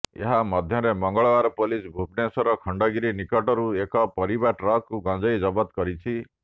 ଏହା ମଧ୍ୟରେ ମଙ୍ଗଳବାର ପୋଲିସ ଭୁବନେଶ୍ବର ଖଣ୍ଡଗିରି ନିକଟରୁ ଏକ ପରିବା ଟ୍ରକରୁ ଗଞ୍ଜେଇ ଜବତ କରିଛି